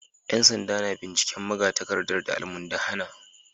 ‘Yan sanda na binciken magatakardar da almundahana